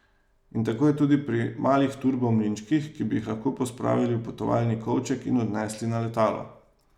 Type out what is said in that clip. In tako je tudi pri malih turbo mlinčkih, ki bi jih lahko pospravili v potovalni kovček in odnesli na letalo.